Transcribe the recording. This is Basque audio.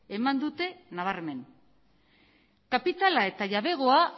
eman dute nabarmen kapitala eta jabegoa